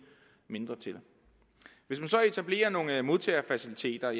mindre til hvis man så etablerer nogle modtagefaciliteter